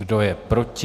Kdo je proti?